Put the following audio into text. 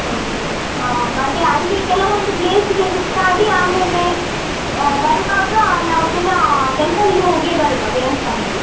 Okay ಆ ಮತ್ತೆ ಅಲ್ಲಿ ಕೆಲವೊಂದು place ಸುತ್ತಾಡಿ ಆಮೇಲೆ ಆ ಬರುವಾಗ ನಾವ್ ಪುನಾ temple ಲಿಗೆ ಹೋಗಿಯೇ ಬರುವ ದೇವಸ್ಥಾನಕ್ಕೆ.